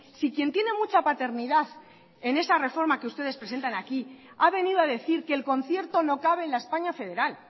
si quien tiene mucha paternidad en esa reforma que ustedes presentan aquí ha venido a decir que el concierto no cabe en la españa federal